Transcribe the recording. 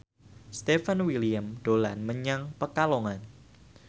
Stefan William dolan menyang Pekalongan